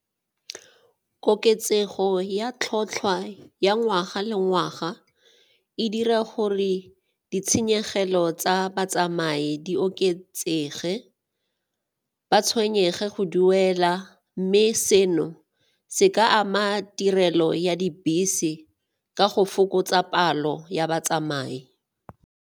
Koketsego ya tlhatlhwa ya ngwaga le ngwaga e dira gore ditshenyegelo tsa batsamai di oketsege, ba tshwenyege go duela mme seno se ka ama tirelo ya dibese ka go fokotsa palo ya batsamai.